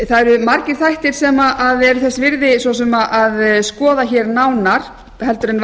það eru margir þættir sem eru þess virði svo sem að skoða hér nánar en